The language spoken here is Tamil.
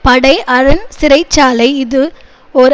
படை அரண் சிறை சாலை இது ஓர்